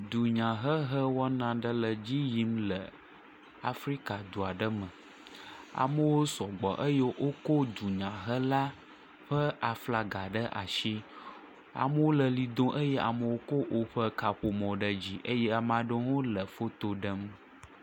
Dunyahehe wɔna aɖe le edzi yim le Afrika edu aɖe me. Amewo sɔgbɔ eye wokɔ dzunyahela ƒe aflaga ɖe asi. Amewo le ʋli dom eye amewo kɔ woƒe kaƒomɔ ɖe dzi eye ame aɖewo hã le foto ɖem.